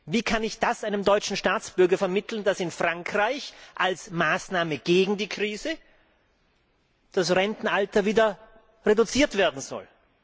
Wie kann ich einem deutschen Staatsbürger vermitteln, dass in Frankreich als Maßnahme gegen die Krise das Rentenalter wieder herabgesetzt werden soll?